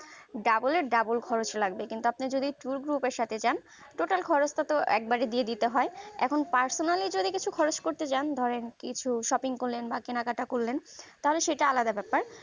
double এর double খরচ লাগবে কিন্তু আপনি যদি tour group এর সাথে যান total খরচটাতো একবারে দিয়ে দিতে হয় এখন personal যদি কিছু খরচ করতে চান ধরেন কিছু shopping করলেন বা কিনাকাটা করলেন তাহলে সেটা আলাদা ব্যাপার